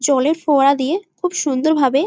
জলের ফোয়ারা দিয়ে খুব সুন্দর ভাবে-এ--